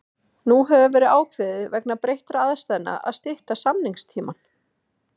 Nú hefur verið ákveðið vegna breyttra aðstæðna að stytta samningstímann.